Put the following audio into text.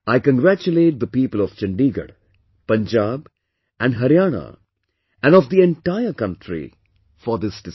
I congratulate the people of Chandigarh, Punjab, and Haryana and of the entire country for this decision